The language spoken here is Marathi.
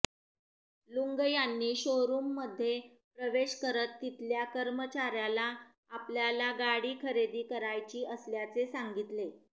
लुंग यांनी शोरूममध्ये प्रवेश करत तिथल्या कर्मचाऱयाला आपल्याला गाडी खरेदी करायची असल्याचे सांगितले